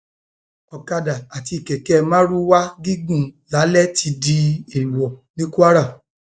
ọkadà àti kẹkẹ mardukà gígùn lálè ti déèwọ ní kwara o